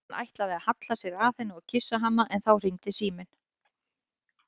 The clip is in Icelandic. Hann ætlaði að halla sér að henni og kyssa hana en þá hringdi síminn.